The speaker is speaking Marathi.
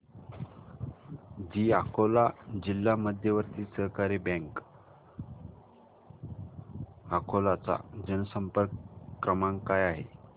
दि अकोला जिल्हा मध्यवर्ती सहकारी बँक अकोला चा जनसंपर्क क्रमांक काय आहे